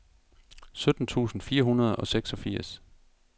sytten tusind fire hundrede og seksogfirs